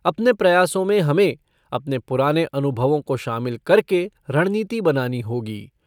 अपने प्रयासों में हमें, अपने पुराने अनुभवों को शामिल करके रणनीति बनानी होगी।